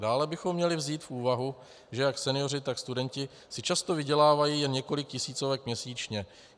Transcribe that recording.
Dále bychom měli vzít v úvahu, že jak senioři, tak studenti si často vydělávají jen několik tisícovek měsíčně.